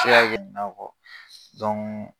se ka kɛ nin na